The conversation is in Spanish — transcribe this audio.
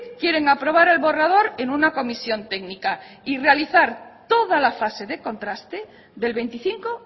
quieren aprobar el borrador en una comisión técnica y realizar toda la fase de contraste del veinticinco